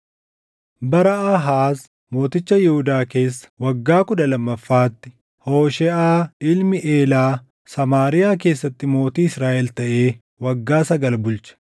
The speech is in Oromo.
Bara Aahaaz mooticha Yihuudaa keessa waggaa kudha lammaffaatti Hoosheeʼaa ilmi Eelaa Samaariyaa keessatti mootii Israaʼel taʼee waggaa sagal bulche.